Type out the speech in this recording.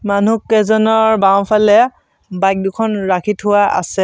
মানুহকেইজনৰ বাওঁফালে বাইক দুখন ৰাখি থোৱা আছে।